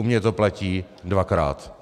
U mě to platí dvakrát.